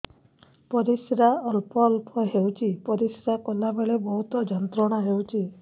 ପରିଶ୍ରା ଅଳ୍ପ ଅଳ୍ପ ହେଉଛି ପରିଶ୍ରା କଲା ବେଳେ ବହୁତ ଯନ୍ତ୍ରଣା ହେଉଛି